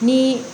Ni